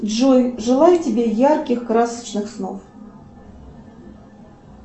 джой желаю тебе ярких красочных снов